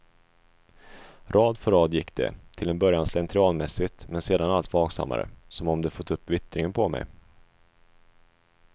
Rad för rad gick de, till en början slentrianmässigt men sedan allt vaksammare, som om de fått upp vittringen på mig.